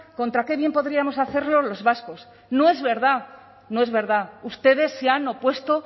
contra qué bien podríamos hacerlo los vascos no es verdad no es verdad ustedes se han opuesto